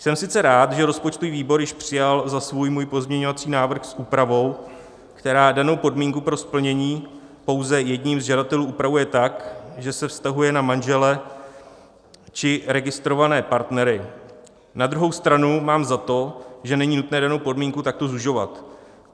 Jsem sice rád, že rozpočtový výbor již přijal za svůj můj pozměňovací návrh s úpravou, která danou podmínku pro splnění pouze jedním z žadatelů upravuje tak, že se vztahuje na manžele či registrované partnery, na druhou stranu mám za to, že není nutné danou podmínku takto zužovat.